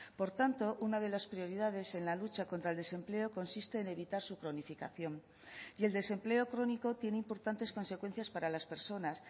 por tanto una de las prioridades en la lucha contra el desempleo consiste en evitar su cronificación y el desempleo crónico tiene importantes consecuencias para las personas